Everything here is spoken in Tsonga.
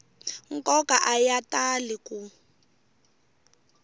nkoka a ya tali ku